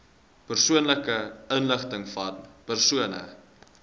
persoonlike inligtingvan persone